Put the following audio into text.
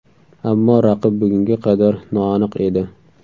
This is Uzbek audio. Ammo raqib bugunga qadar noaniq edi.